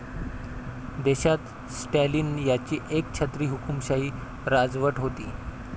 देशात स्टालिन यांची एकछत्री हुकूमशाही राजवट होती.